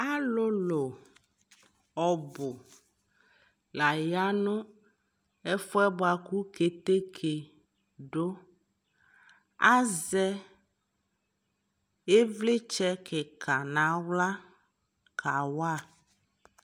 alʋlʋ ɔbʋ la yanʋ ɛƒʋɛ bʋakʋ kɛtɛkɛ dʋ, azɛ ivlitsɛ kikaa nʋ ala ka wa